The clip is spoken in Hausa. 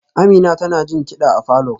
Amina tana jin kida a falor